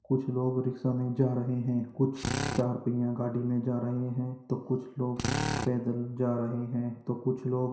कुछ लोग रिक्शा में जा रहे हैं कुछ चार पहिया गाड़ी में जा रहे हैं तो कुछ लोग पैदल जा रहे हैं । कुछ लोग --